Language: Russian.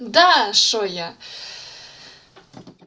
да что я